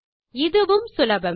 இதுவும் சுலபமே